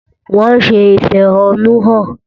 Wọ́n ń ṣe ìfẹ̀hónúhàn.